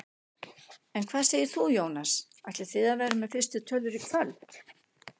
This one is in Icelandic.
En hvað segir þú Jónas, ætlið þið að vera með fyrstu tölur í kvöld?